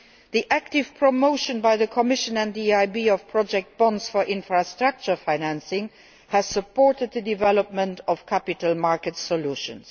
The active promotion by the Commission and the EIB of project bonds for infrastructure financing has supported the development of capital market solutions.